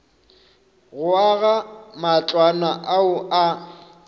go aga matlwana ao a